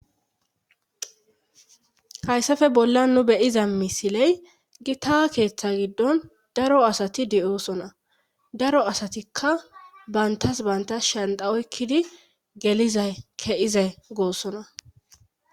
hayssafe bollan nu beyiza misiley gita keeththa giddon daro asati di7oosona daro asatikka bantas bantas shanda oykkidi gelizay ke7izay goossona